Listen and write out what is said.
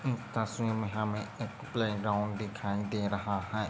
इस तस्वीर में हमे एक प्ले ग्राउंड दिखाई दे रहा हैं।